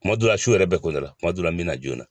Kuma dɔw la su yɛrɛ bɛ ko n na kuma dɔw la n bɛ na joona.